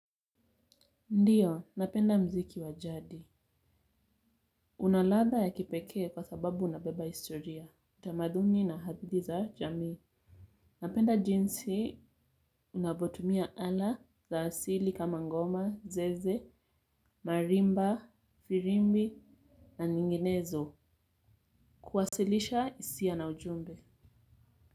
Ndiyo, napenda mziki wajadi. Unaladha ya kipekee kwa sababu unabeba historia. Tamaduni na hadithi za jamii. Napenda jinsi unavyotumia ala za asili kama ngoma, zeze, marimba, firimbi na zinginezo kuwasilisha hisia na ujumbe.